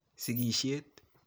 Sigishet